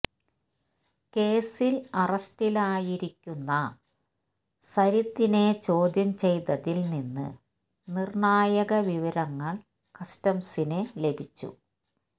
കേസിൽ അറസ്റ്റിലായിരിക്കുന്ന സരിത്തിനെ ചോദ്യം ചെയ്തതിൽ നിന്ന് നിർണായക വിവരങ്ങൾ കസ്റ്റംസിന് ലഭിച്ചു